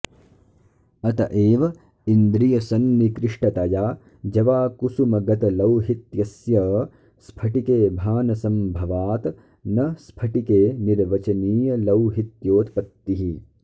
अत एव इन्द्रियसन्निकृष्टतया जवाकुसुमगतलौहित्यस्य स्फटिके भानसम्भवात् न स्फटिकेऽनिर्वचनीयलौहित्योत्पत्तिः